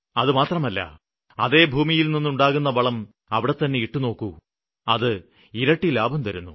അതുമാത്രമല്ല അതേ ഭൂമിയില്നിന്നുണ്ടാകുന്ന വളം അവിടെതന്നെ ഇട്ടുനോക്കൂ അത് ഇരട്ടി ലാഭം തരുന്നു